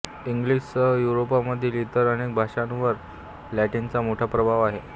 इंग्लिशसह युरोपमधील इतर अनेक भाषांवर लॅटिनचा मोठा प्रभाव आहे